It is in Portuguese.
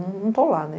Não estou lá, né?